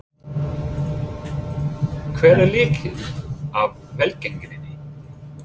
Hver er lykillinn að velgengninni?